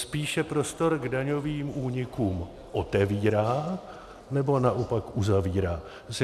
Spíše prostor k daňovým únikům otevírá, nebo naopak uzavírá?